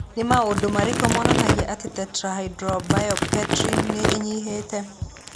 Nĩ maũndũ marĩkũ monanagia atĩ Tetrahydrobiopterin nĩ ĩnyihĩte?